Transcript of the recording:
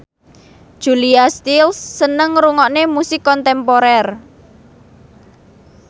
Julia Stiles seneng ngrungokne musik kontemporer